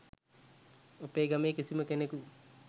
අපේ ගමේ කිසිම කෙනෙකු